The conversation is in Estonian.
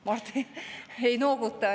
Mart ei nooguta.